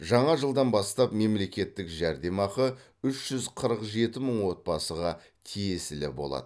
жаңа жылдан бастап мемлекеттік жәрдемақы үш жүз қырық жеті мың отбасыға тиесілі болады